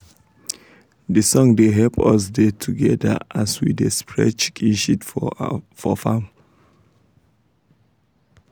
de song da help us da together as we da spread chicken shit for farm